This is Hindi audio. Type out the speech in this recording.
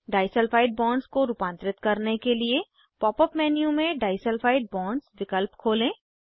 डाईसल्फाइड बॉन्ड्स को रूपांतरित करने के लिए पॉप अप मेन्यू में डाईसल्फाइड बॉन्ड्स विकल्प खोलें